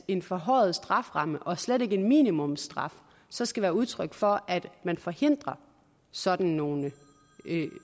en forhøjet strafferamme og slet ikke en minimumsstraf så skal være udtryk for at man forhindrer sådan nogle